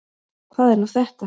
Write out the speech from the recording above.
Hvað er nú þetta?